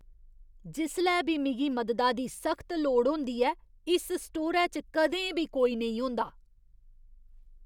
जिसलै बी मिगी मददा दी सख्त लोड़ होंदी ऐ, इस स्टोरै च कदें बी कोई नेईं होंदा।